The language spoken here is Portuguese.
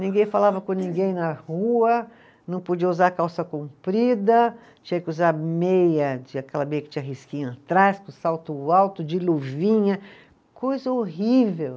Ninguém falava com ninguém na rua, não podia usar calça comprida, tinha que usar meia de, aquela meia que tinha risquinho atrás, com salto alto, de luvinha, coisa horrível.